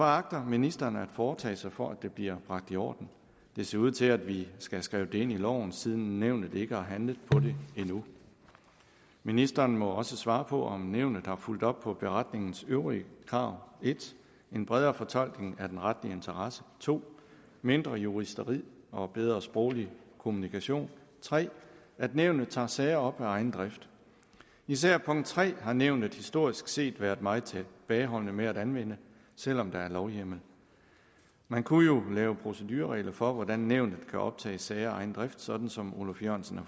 agter ministeren at foretage sig for at det bliver bragt i orden det ser ud til at vi skal have skrevet det ind i loven siden nævnet ikke har handlet på det endnu ministeren må også svare på om nævnet har fulgt op på beretningens øvrige krav 1 en bredere fortolkning af den retlige interesse 2 mindre juristeri og bedre sproglig kommunikation 3 at nævnet tager sager op af egen drift især punkt tre har nævnet historisk set været meget tilbageholdende med at anvende selv om der er lovhjemmel man kunne jo lave procedureregler for hvordan nævnet kan optage sager af egen drift sådan som oluf jørgensen har